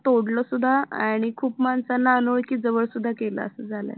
तोडलं सुद्धा आणि खूप माणसांना अनोळखी जवळ सुद्धा केलं असं झालाय